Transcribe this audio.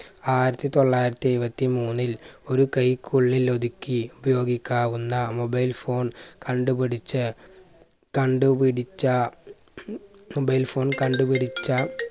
ആയിരത്തി തൊള്ളായിരത്തി എയ്‌വത്തിമൂന്നിൽ ഒരു കൈക്കുള്ളിൽ ഒതുക്കി ഉപയോഗിക്കാവുന്ന mobile phone കണ്ടുപിടിച്ച കണ്ടുപിടിച്ച mobile phone കണ്ടുപിടിച്ച